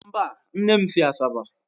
Mba, nne m si Asaba